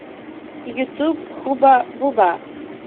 ютуб хубба бубба